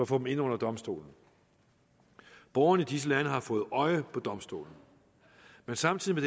få dem ind under domstolen borgerne i disse lande har fået øje på domstolen samtidig